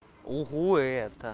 ого это